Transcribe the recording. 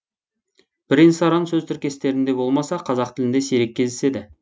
бірен саран сөз тіркестерінде болмаса қазақ тілінде сирек кездеседі